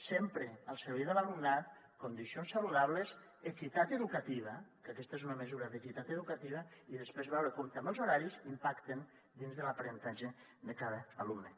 sempre al servei de l’alumnat condicions saludables equitat educativa que aquesta és una mesura d’equitat educativa i després veure com també els horaris impacten dins de l’aprenentatge de cada alumne